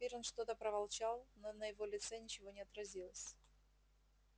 пиренн что-то проворчал но на его лице ничего не отразилось